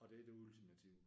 Og det er det ultimative?